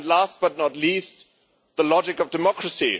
and, last but not least, the logic of democracy.